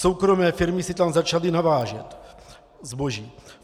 Soukromé firmy si tam začaly navážet zboží.